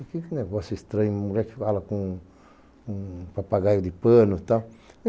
Eu fiquei com um negócio estranho, uma mulher que fala com um papagaio de pano e tal.